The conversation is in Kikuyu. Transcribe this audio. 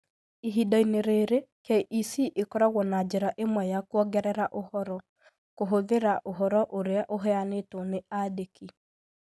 Ihinda-inĩ rĩrĩ, KEC ĩkoragwo na njĩra ĩmwe ya kwongerera ũhoro: kũhũthĩra ũhoro ũrĩa ũheanĩtwo nĩ andĩki.